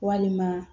Walima